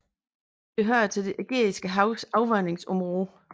Det hører til det Ægæiske Havs afvandingsområde